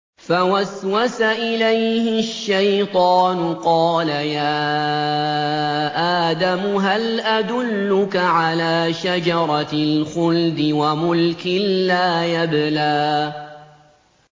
فَوَسْوَسَ إِلَيْهِ الشَّيْطَانُ قَالَ يَا آدَمُ هَلْ أَدُلُّكَ عَلَىٰ شَجَرَةِ الْخُلْدِ وَمُلْكٍ لَّا يَبْلَىٰ